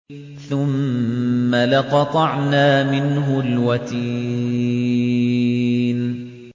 ثُمَّ لَقَطَعْنَا مِنْهُ الْوَتِينَ